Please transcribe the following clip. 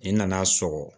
I nan'a sɔgɔ